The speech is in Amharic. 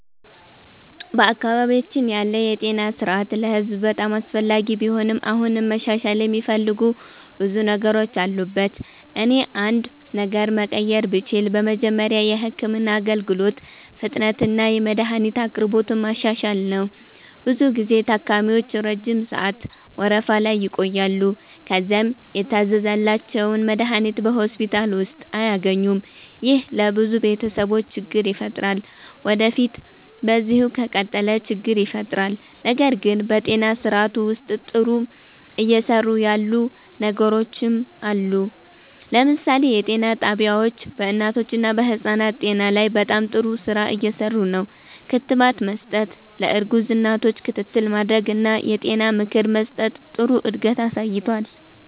በአካባቢያችን ያለው የጤና ስርዓት ለህዝብ በጣም አስፈላጊ ቢሆንም አሁንም መሻሻል የሚፈልጉ ብዙ ነገሮች አሉበት። እኔ አንድ ነገር መቀየር ብችል በመጀመሪያ የህክምና አገልግሎት ፍጥነትንና የመድሀኒት አቅርቦትን ማሻሻል ነው። ብዙ ጊዜ ታካሚዎች ረጅም ሰዓት ወረፋ ላይ ይቆያሉ፣ ከዚያም የታዘዘላቸውን መድሀኒት በሆስፒታል ውስጥ አያገኙም። ይህ ለብዙ ቤተሰቦች ችግር ይፈጥራል ወዴፊት በዚሁ ከቀጠለ ችግር ይፈጥራል። ነገር ግን በጤና ስርዓቱ ውስጥ ጥሩ እየሰሩ ያሉ ነገሮችም አሉ። ለምሳሌ የጤና ጣቢያዎች በእናቶችና በህፃናት ጤና ላይ በጣም ጥሩ ስራ እየሰሩ ነው። ክትባት መስጠት፣ ለእርጉዝ እናቶች ክትትል ማድረግ እና የጤና ምክር መስጠት ጥሩ እድገት አሳይቷል።